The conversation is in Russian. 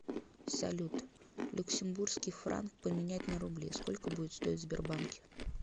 салют люксембургский франк поменять на рубли сколько будет стоить в сбербанке